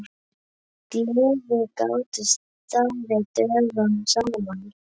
Gleðir gátu staðið dögum saman.